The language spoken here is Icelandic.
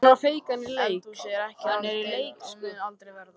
Eldhúsið ekki hans deild og mun aldrei verða.